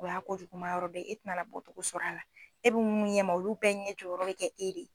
U y'a kojuguma yɔrɔ dɔ ye e tɛna na bɔcogo sɔrɔ a la e bɛ mun ɲɛma olu bɛɛ ɲɛ jɔ yɔrɔ bɛ kɛ e